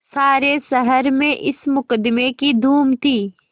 सारे शहर में इस मुकदमें की धूम थी